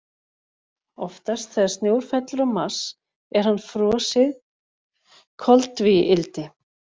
Oftast þegar snjór fellur á Mars er hann frosið koltvíildi.